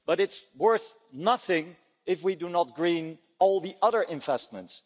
But it's worth nothing if we do not green all the other investments